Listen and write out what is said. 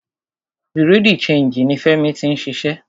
Bureau di changii ní Fẹ́mi tí ń ṣiṣẹ́.